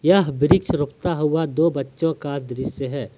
यह वृक्ष रोपता हुआ दो बच्चों का दृश्य है।